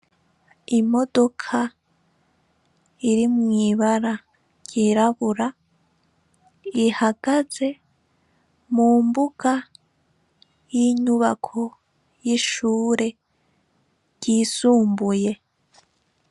Imodoka irimwo ibara ryirabura, ihagaze mu mbuga y'inyubako y'ishure ryisumbuye.